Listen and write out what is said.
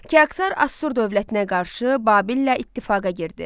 Kiaksar Asur dövlətinə qarşı Babillə ittifaqa girdi.